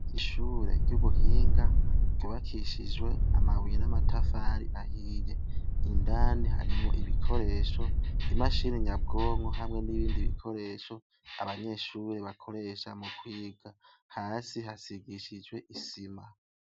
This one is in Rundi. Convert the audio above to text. Ishure ry'ubuhinga, ryubakishijwe amabuye n'amatafari ahiye. Indani harimwo ibikoresho, imashini nyabwonko hamwe n'ibindi bikoresho abanyeshure bakoresha mukwiga. Hasi hasigisijwe isima.